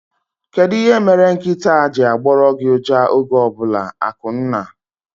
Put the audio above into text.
Kedụ ihe mere nkịtaa ji agboru gị uja oge ọbụla? Akunna